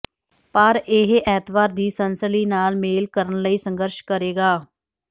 ਪਰ ਇਹ ਐਤਵਾਰ ਦੀ ਸਨਸਨੀ ਨਾਲ ਮੇਲ ਕਰਨ ਲਈ ਸੰਘਰਸ਼ ਕਰੇਗਾ